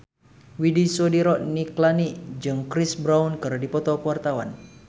Widy Soediro Nichlany jeung Chris Brown keur dipoto ku wartawan